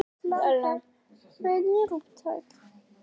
Ég var hissa á spurningunni.